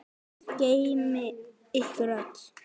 Guð geymi ykkur öll.